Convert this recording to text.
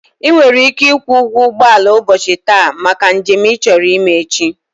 I were ike ikwu ugwo ugboala ubochi taa maka njem i choro ime echi.